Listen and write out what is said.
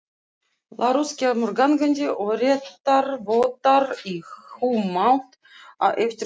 Lárus kemur gangandi og réttarvottar í humátt á eftir honum.